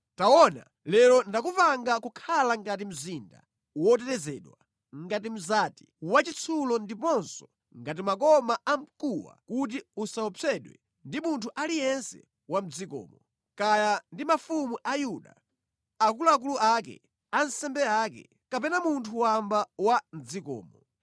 Taona, lero ndakupanga kukhala ngati mzinda wotetezedwa, ngati mzati wachitsulo ndiponso ngati makoma a mkuwa kuti usaopsedwe ndi munthu aliyense wa mʼdzikomo; kaya ndi mafumu a Yuda, akuluakulu ake, ansembe ake, kapena munthu wamba wa mʼdzikomo.